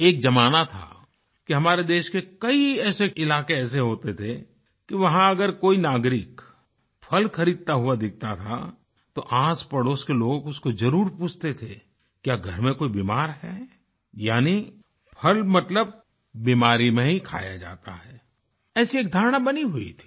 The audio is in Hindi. एक जमाना था कि हमारे देश के कई ऐसे इलाके होते थे कि वहाँ अगर कोई नागरिक फल खरीदता हुआ दिखता था तो आसपड़ोस के लोग उसको जरुर पूछते थे क्या घर में कोई बीमार है यानी फल मतलब बीमारी में ही खाया जाता है ऐसी एक धारणा बनी हुई थी